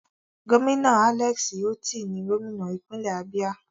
Gómìnà Alex Otti ni gómìnà ìpínlẹ̀ Abia.